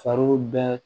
Fari bɛɛ